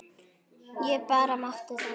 Ég bara mátti það!